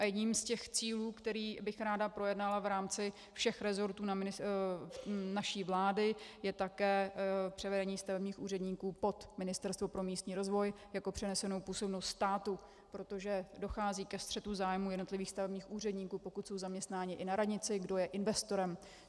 A jedním z těch cílů, které bych ráda projednala v rámci všech resortů naší vlády, je také převedení stavebních úředníků pod Ministerstvo pro místní rozvoj jako přenesenou působnost státu, protože dochází ke střetu zájmů jednotlivých stavebních úředníků, pokud jsou zaměstnáni i na radnici, kdo je investorem.